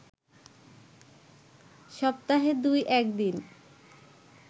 সপ্তাহে দুই-এক দিন